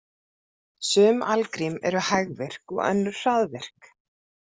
Sum algrím eru hægvirk og önnur hraðvirk.